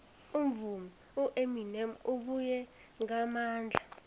umvumi ueminem ubuye ngamandla